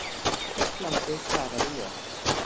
Heillandi svaraði ég.